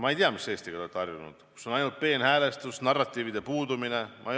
Ma ei tea, mis Eestiga te olete harjunud – kas sellisega, kus on ainult peenhäälestus, narratiivide puudumine?